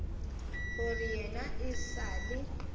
gore yena e sa le